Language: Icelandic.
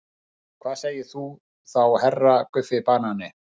Og hvað segir þú þá HERRA Guffi banani?